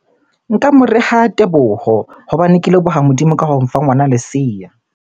Nka mo reha Teboho hobane ke leboha Modimo ka ho mfa ngwana leseya.